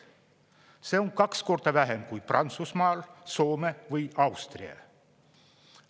See on kaks korda vähem kui Prantsusmaal, Soome või Austria.